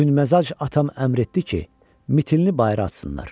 Tündməzac atam əmr etdi ki, mitilini bayıra atsınlar.